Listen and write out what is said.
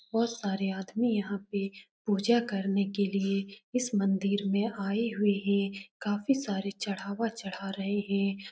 बहुत सारे आदमी यहाँ पे पूजा करने के लिए इस मंदिर आए हुए हैं काफी सारा चढ़ावा चढ़ा रहे हैं।